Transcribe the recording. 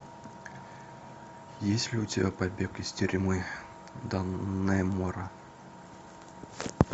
есть ли у тебя побег из тюрьмы даннемора